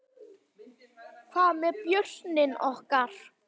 Hvað með börnin okkar?